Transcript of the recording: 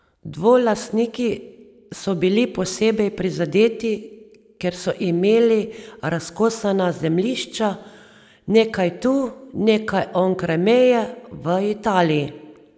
Dvolastniki so bili posebej prizadeti, ker so imeli razkosana zemljišča, nekaj tu, nekaj onkraj meje v Italiji.